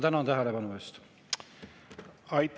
Tänan tähelepanu eest!